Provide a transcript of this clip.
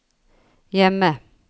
hjemme